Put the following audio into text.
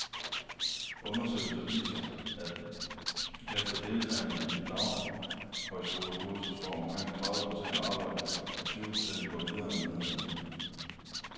Undersøgelser viser, at efter deltagelse i et daghøjskolekursus får omkring tredive procent arbejde, og tyve procent går videre med en uddannelse.